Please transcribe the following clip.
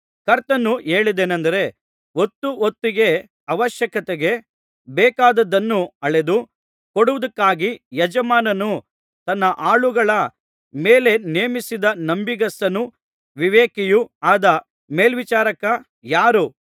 ಕರ್ತನು ಹೇಳಿದ್ದೇನಂದರೆ ಹೊತ್ತು ಹೊತ್ತಿಗೆ ಅವಶ್ಯಕತೆಗೆ ಬೇಕಾದದ್ದನ್ನು ಅಳೆದು ಕೊಡುವುದಕ್ಕಾಗಿ ಯಜಮಾನನು ತನ್ನ ಆಳುಗಳ ಮೇಲೆ ನೇಮಿಸಿದ ನಂಬಿಗಸ್ತನೂ ವಿವೇಕಿಯೂ ಆದ ಮೇಲ್ವಿಚಾರಕ ಯಾರು